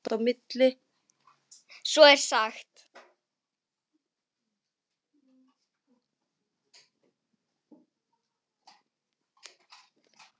Svo er sagt.